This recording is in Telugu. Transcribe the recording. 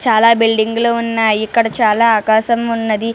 చాల బిల్డింగ్లు ఉన్నాయ్ ఇక్కడ చాల ఆకాశం వున్నది --